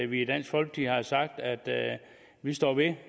vi i dansk folkeparti har sagt at vi står ved